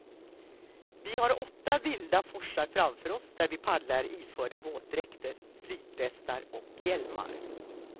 Vi har åtta vilda forsar framför oss där vi paddlar iförda våtdräkter, flytvästar och hjälmar.